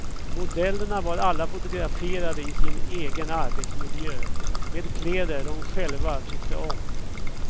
Modellerna var alla fotograferade i sin egen arbetsmiljö med kläder de själva tyckte om.